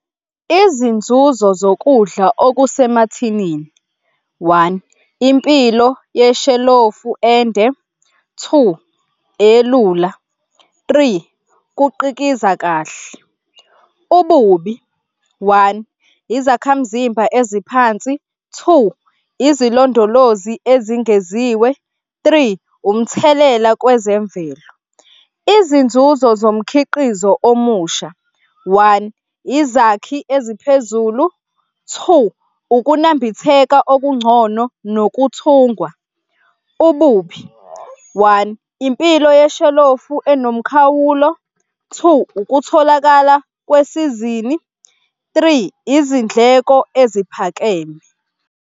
Izinzuzo zokudla okusemathinini, one, impilo yeshalofu ende. Two, elula. Three, kuqikiza kahle. Ububi, one, izakhamzimba eziphansi. Two, izilondolozi ezingeziwe. Three, umthelela kwezemvelo. Izinzuzo zomkhiqizo omusha, one, izakhi eziphezulu. Two, ukunambitheka okungcono nokuthungwa. Ububi, one, impilo yeshalofu enomkhawulo. Two, ukutholakala kwesizini. Three, izindleko eziphakeme.